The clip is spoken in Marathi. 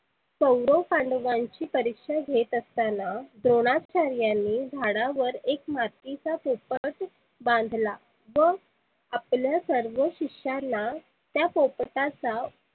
कौरव पांडवांची परिक्षा घेत असताना द्रोनाचार्च्यांनी झाडावर एक मातीचा पोपट बांधला. व आपल्या सर्व शिष्यांना त्या पोपटाचा